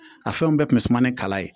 A fɛnw bɛɛ kun bɛ suma ni kala ye